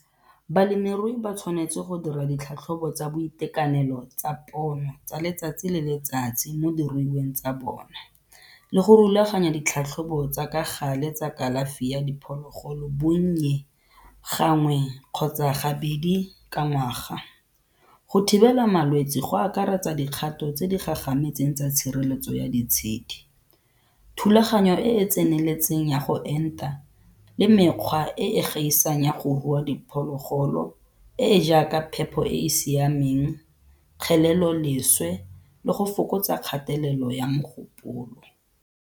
Balemirui ba tshwanetse go dira ditlhatlhobo tsa boitekanelo tsa pono tsa letsatsi le letsatsi mo diruiweng tsa bona le go rulaganya ditlhatlhobo tsa ka gale tsa kalafi ya diphologolo bonnye gangwe kgotsa gabedi ka ngwaga. Go thibela malwetse go akaretsa dikgato tse di gagametseng tsa tshireletso ya ditshedi, thulaganyo e e tseneletseng ya go enta le mekgwa e e gaisang ya go rua diphologolo e e jaaka phepho e e siameng, kgeleloleswe le go fokotsa kgatelelo ya mogopolo.